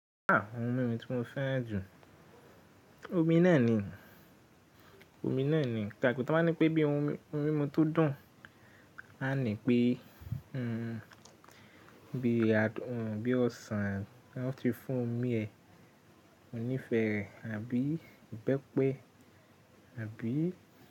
À, ohun mímu tí mo fẹ́ran jù, omi náà ni, omi náà ni. Gààgù tó máa ní pé bí ohun mímu tó dùn, a ní pé, hmm, bí adùn, bí ọsàn, wọ́n ti fún omi ẹ̀, monífẹ́ rẹ̀ àbí ìbẹ́pẹ àbí.